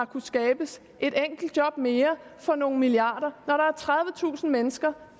kunne skabes et enkelt job mere for nogle milliarder når der er tredivetusind mennesker